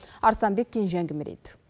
арыстанбек кенже әңгімелейді